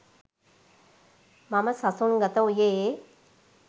මම සසුන් ගත වූයේ